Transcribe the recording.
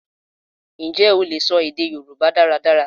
Ǹjẹ́ o lè sọ èdè Yorùbá dáradára?